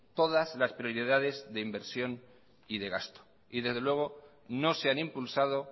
todas las prioridades de inversión y de gasto y desde luego no se han impulsado